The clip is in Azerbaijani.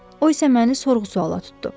O isə məni sorğu-suala tutdu.